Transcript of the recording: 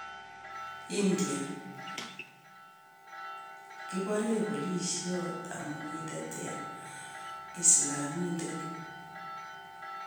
India:Kipore Polisiot amu katetea Islamindet